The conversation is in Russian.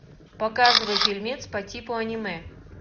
показывай фильмец по типу аниме